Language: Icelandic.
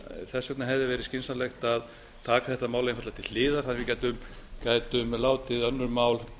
þess vegna hefði verið skynsamlegt að taka þetta mál einfaldlega til hliðar þannig að við gætum látið önnur mál